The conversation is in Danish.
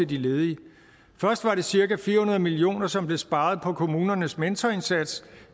de ledige først var det cirka fire hundrede million kr som blev sparet på kommunernes mentorindsats